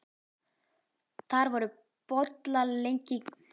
Þar voru bollaleggingar bæði faglegar og einatt mjög gagnlegar.